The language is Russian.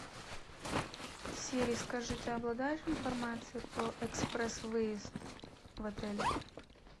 сири скажи ты обладаешь информацией про экспресс выезд в отеле